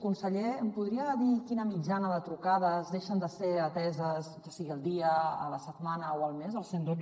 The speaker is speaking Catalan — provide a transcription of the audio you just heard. conseller em podria dir quina mitjana de trucades deixen de ser ateses ja sigui al dia a la setmana o al mes al cent i dotze